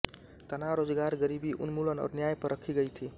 तनाव रोजगार गरीबी उन्मूलन और न्याय पर रखी गई थी